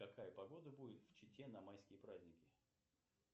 какая погода будет в чите на майские праздники